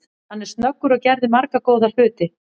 Hann er snöggur og gerði marga góða hluti.